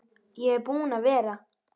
Ég er búinn að vera